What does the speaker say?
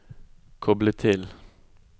koble til